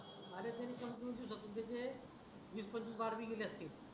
अरे ते समजू बी शकत नाही ते वीस पंचवीस बार बी गेले असतील